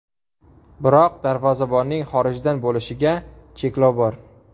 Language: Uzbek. Biroq darvozabonning xorijdan bo‘lishiga cheklov bor.